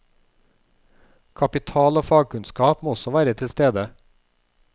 Kapital og fagkunnskap må også være tilstede.